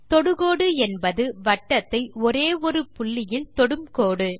தொடுகோடு என்பது வட்டத்தை ஒரே ஒரு புள்ளியில் தொடும் கோடு